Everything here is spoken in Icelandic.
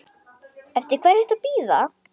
Eftir hverju ertu að bíða!